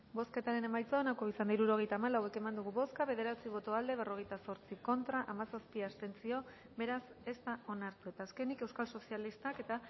bozketaren emaitza onako izan da hirurogeita hamalau eman dugu bozka bederatzi boto aldekoa berrogeita zortzi contra hamazazpi abstentzio beraz ez da onartu eta azkenik euskal sozialistak eta